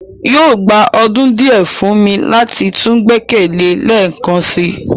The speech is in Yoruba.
yóò gba ọdun diẹ fun mi lati tun gbẹkẹle ẹ lẹẹkansi